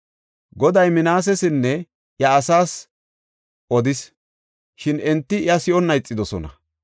Goday Minaasesinne iya asaas odis; shin enti iya si7onna ixidosona.